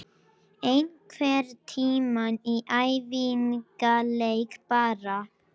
Beygingin nú er: Nefnifall: Jesús